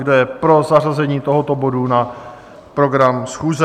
Kdo je pro zařazení tohoto bodu na program schůze?